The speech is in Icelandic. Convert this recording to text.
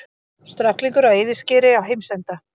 Stráklingur á eyðiskeri á heimsenda?